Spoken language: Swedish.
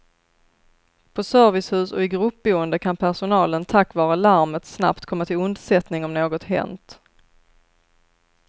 På servicehus och i gruppboende kan personalen tack vare larmet snabbt komma till undsättning om något hänt.